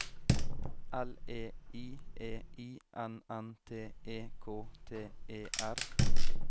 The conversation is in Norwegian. L E I E I N N T E K T E R